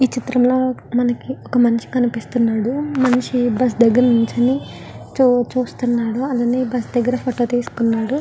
ఈ చిత్రంలో మనకి ఒక మనిషి కనిపిస్తున్నాడు ఆ మనిషి బస్ దగ్గర నుంచోన్ని చూస్తున్నాడు అయన బస్సు దగ్గర ఫోటో తీస్కున్నాడు .